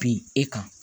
Bin e kan